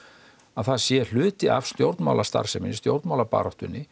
að það sé hluti af stjórnmálastarfsemi stjórnmálabaráttunni